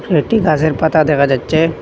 একটি গাসের পাতা দেখা যাচ্ছে।